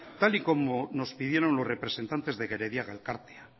tal y como nos pidieron los representantes de gerediaga elkartea